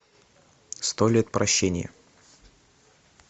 сто лет прощения